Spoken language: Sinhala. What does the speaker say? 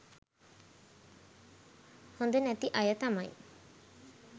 හොඳ නැති අය තමයි.